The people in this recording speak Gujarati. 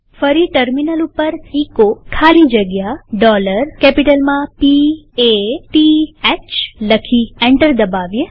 ફરી ટર્મિનલ ઉપર એચો ખાલી જગ્યા P A T Hકેપિટલમાં લખી એન્ટર દબાવીએ